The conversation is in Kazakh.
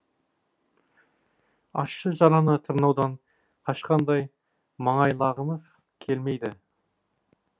ащы жараны тырнаудан қашқандай маңайлағымыз келмейді